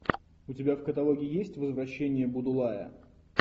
у тебя в каталоге есть возвращение будулая